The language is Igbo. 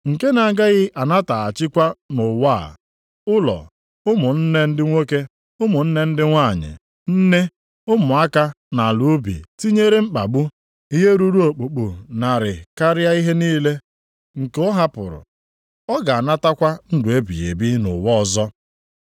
nke na-agaghị anataghachikwa nʼụwa a, ụlọ, ụmụnne ndị nwoke, ụmụnne ndị nwanyị, nne, ụmụaka na ala ubi, tinyere mkpagbu, ihe ruru okpukpu narị karịa ihe niile nke ọ hapụrụ. Ọ ga-anatakwa ndụ ebighị ebi nʼụwa ọzọ.